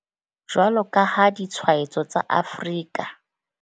Jwalo ka ha ditshwaetso tsa Afrika.